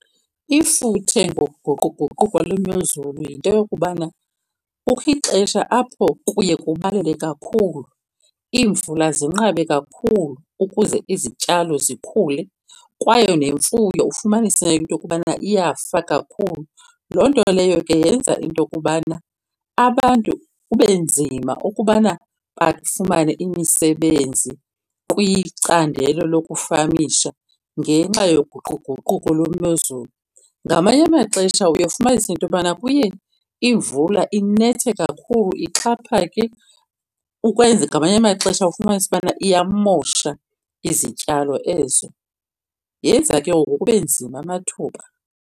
Ifuthe ngokuguquguquko lwemozulu yinto yokubana kukho ixesha apho kuye kubalele kakhulu iimvula zinqabe kakhulu ukuze izityalo zikhule kwaye nemfuyo ufumanise into yokubana iyafa kakhulu. Loo nto leyo ke yenza into yokubana abantu kube nzima ukubana bafumane imisebenzi kwicandelo lokufamisha ngenxa yoguquguquko lwemozulu. Ngamanye amaxesha uye ufumanise into yobana kuye imvula inethe kakhulu ixhaphake ukwenza ngamanye amaxesha ufumanise ubana iyamosha izityalo ezo. Yenza ke ngoku kube nzima amathuba.